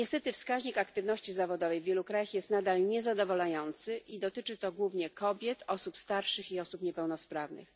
Niestety wskaźnik aktywności zawodowej w wielu krajach jest nadal niezadowalający i dotyczy to głównie kobiet, osób starszych i osób niepełnosprawnych.